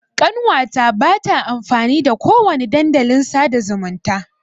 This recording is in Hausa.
Ƙanwa ta ba ta amfani da ko wani dandalin sa'da zumunta.